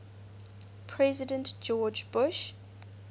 president george bush